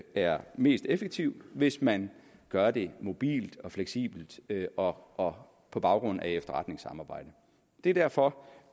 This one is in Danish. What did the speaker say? er mest effektivt hvis man gør det mobilt fleksibelt og og på baggrund af efterretningssamarbejde det er derfor